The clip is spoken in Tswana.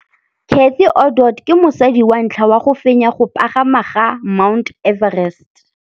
Cathy Odowd ke mosadi wa ntlha wa go fenya go pagama ga Mt Everest.